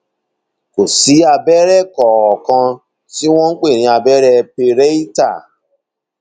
kò sí abẹrẹ kankan tí wọn pè ní abẹrẹ pareital